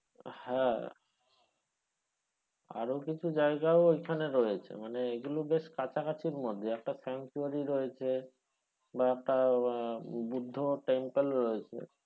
হ্যাঁ আরো কিছু জায়গাও ওইখানে রয়েছে মানে এইগুলো বেশ কাছাকাছি মধ্যে একটা রয়েছে বা একটা বুদ্ধ temple রয়েছে,